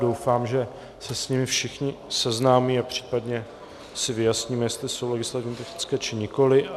Doufám, že se s nimi všichni seznámí a případně si vyjasníme, jestli jsou legislativně technické, či nikoli.